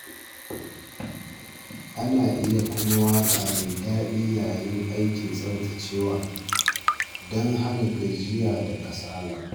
Ana iya kunna waƙa mai daɗi yayin aikin tsaftacewa don hana gajiya da kasala.